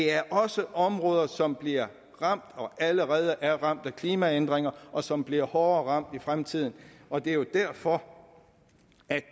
er også områder som bliver ramt og allerede er blevet ramt af klimaændringer og som bliver hårdere ramt i fremtiden og det er jo derfor